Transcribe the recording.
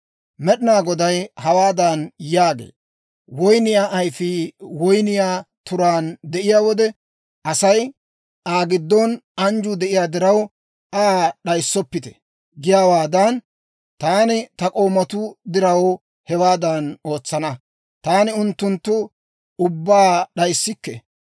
Med'inaa Goday hawaadan yaagee; «Woynniyaa ayfii woyniyaa turaan de'iyaa wode asay, ‹Aa giddon anjjuu de'iyaa diraw, Aa d'ayissoppite› giyaawaadan, taani ta k'oomatuu diraw, hewaadan ootsana; taani unttunttu ubbaa d'ayissikke.